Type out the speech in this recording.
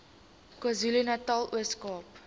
kwazulunatal ooskaap